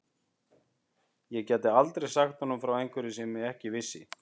Ég gæti aldrei sagt honum frá einhverju sem ég ekki vissi.